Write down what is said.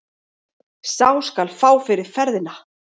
Sá skal fá fyrir ferðina!